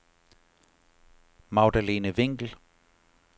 Magdalene Winkel